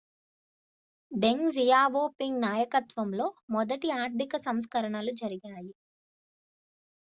డెంగ్ Xiaoping నాయకత్వంలో మొదటి ఆర్థిక సంస్కరణలు జరిగాయి